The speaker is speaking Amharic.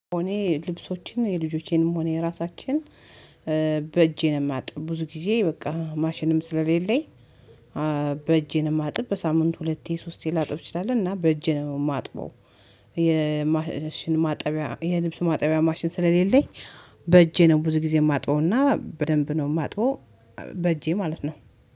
እኔ ልብሶችን የልጆቼንም ሆነ የራሳችን በእጄ ነው ማጥብ። ብዙ ጊዜ በቃ ማሽንም ስለሌለኝ በእጄ ነው ማጥብ። በሳምንት ሁለቴ ሶስቴ ላጥብ ችላለሁ እና በእጄ ነው ማጥበው። ልብስ ማጠቢያ ማሽን ስለሌለኝ በእጄ ነው ብዙ ጊዜ ማጥበውና በደንብ ነው ማጥበው በእጄ ማለት ነው።